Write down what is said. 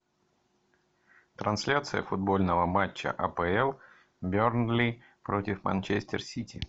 трансляция футбольного матча апл бернли против манчестер сити